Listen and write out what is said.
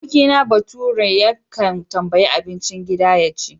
Abokina baturen yakan tambayi abincin gida ya ci.